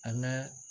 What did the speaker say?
An ka